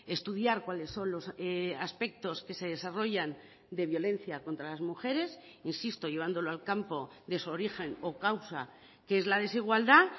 estudiar cuáles son los aspectos que se desarrollan de violencia contra las mujeres insisto llevándolo al campo de su origen o causa que es la desigualdad